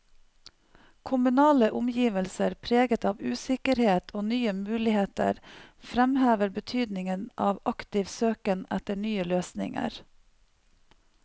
Kommunale omgivelser preget av usikkerhet og nye muligheter framhever betydningen av aktiv søken etter nye løsninger.